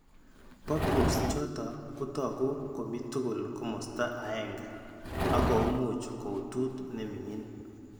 Papules choto kotaku komitugul komosta aeng'e ak ko much kouutut ne miing'in.